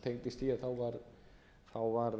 tengdist því að þá var